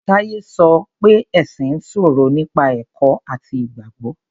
Táyé sọ oé ẹ̀sìn ń sọ̀rọ̀ nípa ẹ̀kọ́ àti Ìgbàgbọ́.